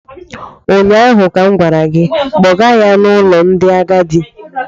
ụnyaahụ ka m gwara gị, kpọga ya n’ụlọ ndị agadi!